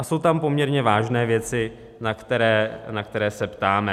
A jsou tam poměrně vážné věci, na které se ptáme.